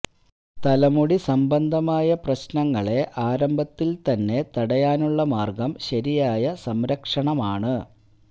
തലമുടി സംബന്ധമായ പ്രശ്നങ്ങളെ ആരംഭത്തില് തന്നെ തടയാനുള്ള മാര്ഗ്ഗം ശരിയായ സംരക്ഷണമാണ്